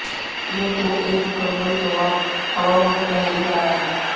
यूं तो एक मुकम्मल जवाब हवाओं में बह ही रहा है